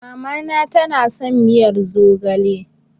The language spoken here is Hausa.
Mamana tana son miyar zogale.